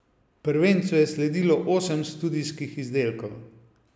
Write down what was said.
Prvencu je sledilo osem studijskih izdelkov.